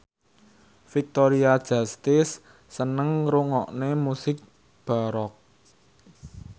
Victoria Justice seneng ngrungokne musik baroque